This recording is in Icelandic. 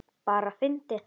Bara fyndið.